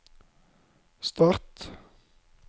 start